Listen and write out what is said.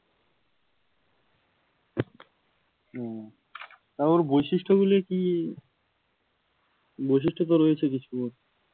হম তা ওর বৈশিষ্ট্যগুলি কি, বৈশিষ্ট্য তো রয়েছে কিছুর মধ্যে